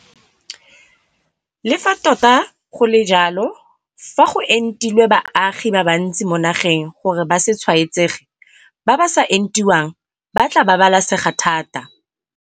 Le fa tota go le jalo, fa go entilwe baagi ba bantsi mo nageng gore ba se tshwaetsege, ba ba sa entiwang ba tla babalesega thata.